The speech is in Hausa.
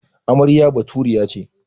Amarya Baturiya ce.